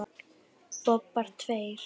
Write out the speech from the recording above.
Bobbar tveir.